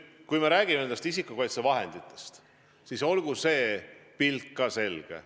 Kui me räägime isikukaitsevahenditest, siis olgu see pilt ka selge.